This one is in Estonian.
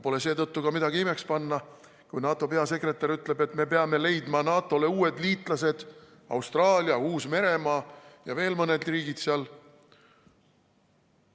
Pole seetõttu ka midagi imeks panna, kui NATO peasekretär ütleb, et me peame leidma NATO‑le uued liitlased: Austraalia, Uus-Meremaa ja veel mõned riigid seal.